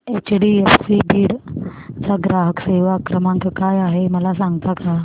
HDFC Beed चा ग्राहक सेवा क्रमांक काय आहे मला सांगता का